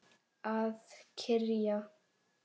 Að kyrja.